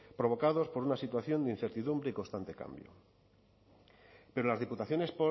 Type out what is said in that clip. provocados por una situación de incertidumbre y constante cambio pero las diputaciones